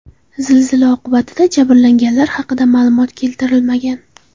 Zilzila oqibatida jabrlanganlar haqida ma’lumotlar keltirilmagan.